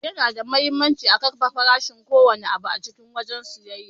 Yana da muhimmanci a kafe farashin ko wanne abu a cikin wajen siyayya.